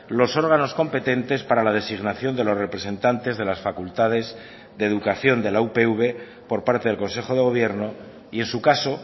los órganos competentes para la designación de los representantes de las facultades de educación de la upv por parte del consejo de gobierno y en su caso